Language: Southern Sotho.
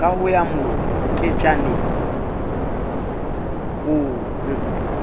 ka ho ya moketjaneng ono